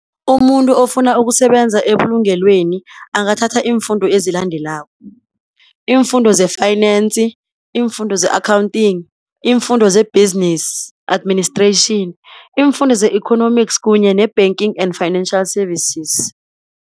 Umuntu ofuna ukusebenza ebulungelweni, angathatha iimfundo ezilandelako, iimfundo ze-Finance, iimfundo ze-Accounting, iimfundo ze-Business administration, iimfundo ze-Economics kunye ne-banking and financial services.